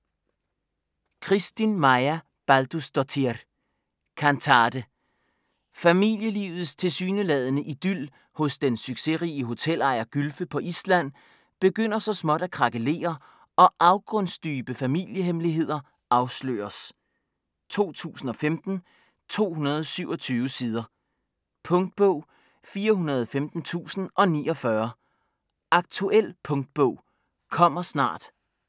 Kristín Marja Baldursdóttir: Kantate Familielivets tilsyneladende idyl hos den succesrige hotelejer Gylfe på Island begynder så småt at krakelere og afgrundsdybe familiehemmeligheder afsløres. 2015, 227 sider. Punktbog 415049 Aktuel punktbog - kommer snart